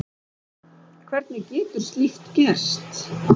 Hvernig getur slíkt gerst?